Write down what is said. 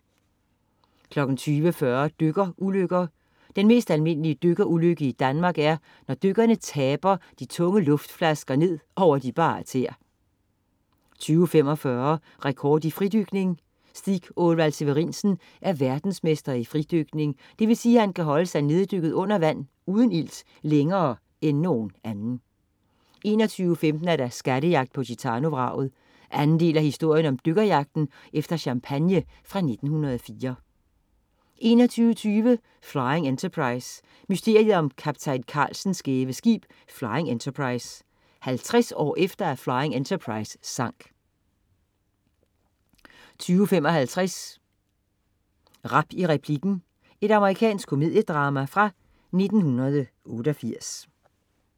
20.40 Dykkerulykker. Den mest almindelige dykkerulykke i Danmark er, når dykkerne taber de tunge luftflasker ned over de bare tæer 20.45 Rekord i fridykning. Stig Åvall Severinsen er verdensmester i fridykning, det vil sige, at han kan holde sig neddykket under vand uden ilt længere end nogen anden 21.15 Skattejagt på Gitano-vraget. Anden del af historien om dykkerjagt efter champagne fra 1904 21.20 Flying Enterprise. Mysteriet om kaptajn Carlsens skæve skib. Flying Enterprise. 50 år efter at Flying Enterprise sank 22.55 Rap i replikken. Amerikansk komediedrama fra 1988